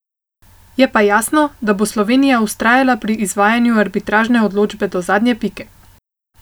Je pa jasno, da bo Slovenija vztrajala pri izvajanju arbitražne odločbe do zadnje pike.